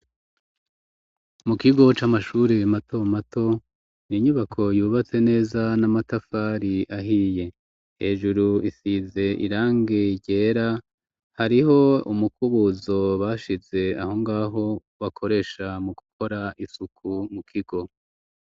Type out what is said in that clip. Mu kigo c'amashure mato mato inyubako yubatse neza n'amatafari ahiye hejuru isize irange ryera hariho umukubuzo bashize aho ngaho bakoresha mu gukora isuku mu kigo.